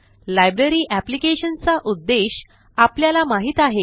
library applicationचा उद्देश आपल्याला माहित आहे